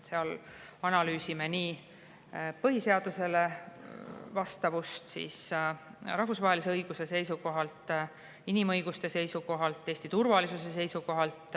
Seal analüüsime põhiseadusele vastavust rahvusvahelise õiguse seisukohalt, inimõiguste seisukohalt ja Eesti turvalisuse seisukohalt.